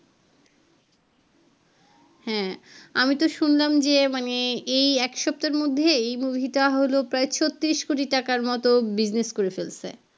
হ্যাঁ আমি তো শুনলাম যে মানে এই এক সপ্তাহের মধ্যে এই মুভি তা হল প্রায় ছত্রিশ কোটি টাকার মতো business করে ফেলসে